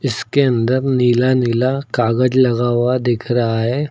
इसके अंदर नीला नीला कागज लगा हुआ दिख रहा है।